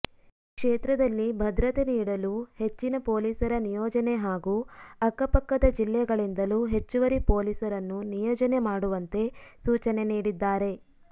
ಕ್ಷೇತ್ರದಲ್ಲಿ ಭದ್ರತೆ ನೀಡಲು ಹೆಚ್ಚಿನ ಪೊಲೀಸರ ನಿಯೋಜನೆ ಹಾಗೂ ಅಕ್ಕಪಕ್ಕದ ಜಿಲ್ಲೆಗಳಿಂದಲೂ ಹೆಚ್ಚುವರಿ ಪೊಲೀಸರನ್ನು ನಿಯೋಜನೆ ಮಾಡುವಂತೆ ಸೂಚನೆ ನೀಡಿದ್ದಾರೆ